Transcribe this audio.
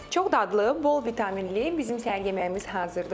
Çox dadlı, bol vitaminli bizim səhər yeməyimiz hazırdır.